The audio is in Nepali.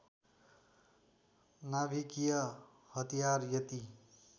नाभिकीय हतियार यति